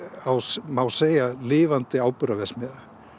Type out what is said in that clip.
er má segja lifandi áburðarverksmiðja